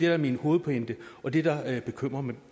er min hovedpointe og det der bekymrer mig